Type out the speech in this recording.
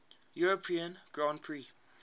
european grand prix